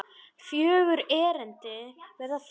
Fjögur erindi verða flutt.